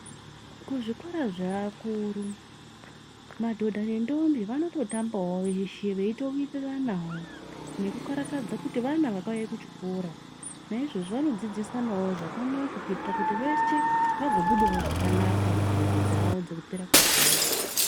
Kuzvikora zveakuru madhodha ndentombi vanototambawo veshe veitowiriranawo nekukarakadza kuti vana vakauya kuchikora naizvozvo vanodzidzisanawo zvakanaka kuitira kuti veshe vagobudawo zvakanaka mubvunzo dzavo dzekupera kwegore.